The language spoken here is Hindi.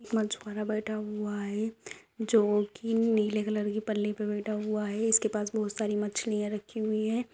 मछवारा बैठा हुआ है जो कि नीले कलर की पल्ली पर बैठा हुआ है इसके पास बहुत सारी मछलियां रखी हुई है।